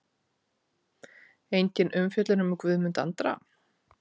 Engin umfjöllun um Guðmund Andra?